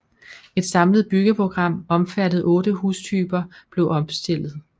Et samlet byggeprogram omfattende 8 hustyper blev opstillet